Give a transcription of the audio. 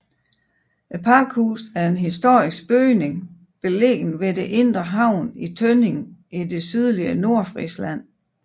Pakhuset er en historisk bygning beliggende ved det indre havn i Tønning i det sydlige Nordfrisland